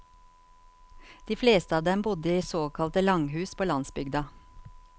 De fleste av dem bodde i såkalte langhus på landsbygda.